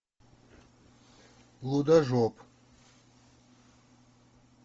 лудожоп